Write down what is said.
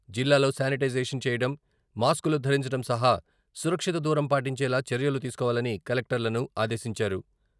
జిల్లాలో శానిటైజేషన్ చేయడం, మాస్క్లు ధరించడం సహా సురక్షిత దూరం పాటించేలా చర్యలు తీసుకోవాలని కలెక్టర్లను ఆదేశించారు.